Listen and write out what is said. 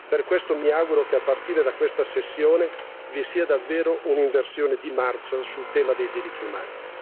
Per questo, mi auguro che a partire da questa tornata vi sia davvero un'inversione di marcia sul tema dei diritti umani.